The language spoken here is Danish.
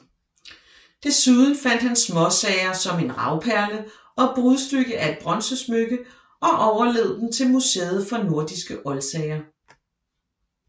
Desuden fandt han småsager som en ravperle og brudstykke af et bronzesmykke og overlod dem til Museet for nordiske oldsager